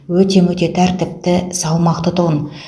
өте мөте тәртіпті салмақты тұғын